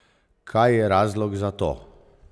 Kaj je razlog za to?